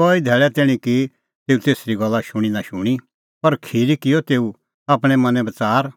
कई धैल़ै तैणीं की तेऊ तेसरी गल्ला शूणीं नां शूणीं पर खिरी किअ तेऊ आपणैं मनैं बच़ार